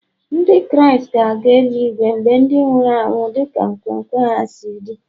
Ndị Kraịst ga-aga eli-igwe mgbe ndị nwụrụ anwụ dị ka nkwenkwe ha si dị